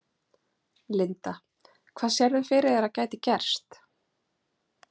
Linda: Hvað sérðu fyrir þér að gæti gerst?